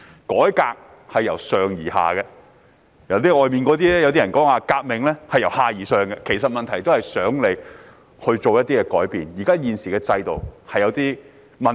改革是由上而下的，而外面的人所說的"革命"，則是由下而上的，目的都是想政府作出改變，因為現行制度有問題。